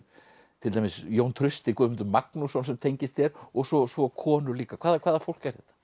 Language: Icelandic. til dæmis Jón Trausti Guðmundur Magnússon sem tengist þér og svo og svo konur líka hvaða hvaða fólk er þetta